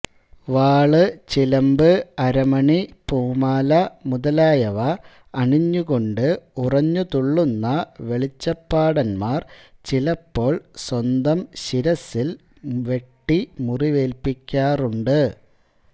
വാള് ചിലമ്പ് അരമണി പൂമാല മുതലായവ അണിഞ്ഞുകൊണ്ട് ഉറഞ്ഞുതുള്ളുന്ന വെളിച്ചപ്പാടന്മാർ ചിലപ്പോൾ സ്വന്തം ശിരസ്സിൽ വെട്ടിമുറിവേല്പിക്കാരുണ്ട്